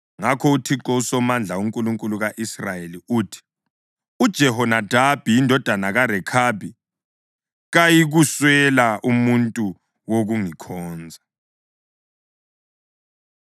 Ngakho uThixo uSomandla, uNkulunkulu ka-Israyeli, uthi: ‘UJehonadabi indodana kaRekhabi kayikuswela umuntu wokungikhonza.’ ”